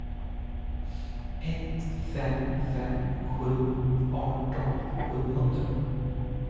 ett fem fem sju arton sjuhundra